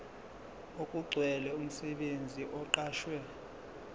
okugcwele umsebenzi oqashwe